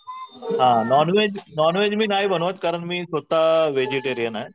Non veg non veg मी नाही बनवत कारण मी स्वतः व्हेजिटेरियन आहे.